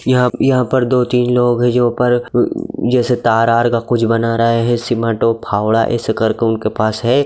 यहाँ यहाँ पर दो तीन लोग है जो ऊपर उ जैसे तार आर का कुछ बना रहा है ऐसे करके उनके पास है ।